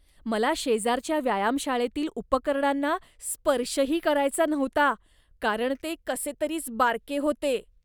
मला शेजारच्या व्यायामशाळेतील उपकरणांना स्पर्शही करायचा नव्हता कारण ते कसेतरीच बारके होते.